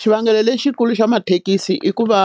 Xivangelo lexikulu xa mathekisi i ku va